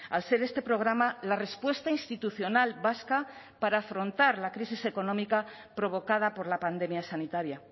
al ser este programa la respuesta institucional vasca para afrontar la crisis económica provocada por la pandemia sanitaria